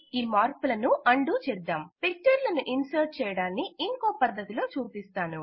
ఈ మార్పులను undo చేద్దాం పిక్చర్ లను ఇన్సర్ట్ చేయడాన్ని ఇంకొక పద్ధతిలో చూపిస్తాను